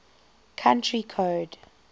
country code